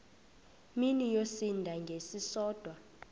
mini yosinda ngesisodwa